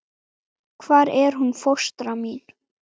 Hvar er hún fóstra mín?